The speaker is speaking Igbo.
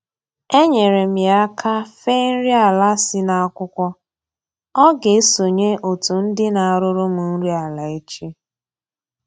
Enyeere m ya aka fee nri ala si n'akwụkwọ, ọ ga-esonye otu ndị na-arụrụ m nri ala echi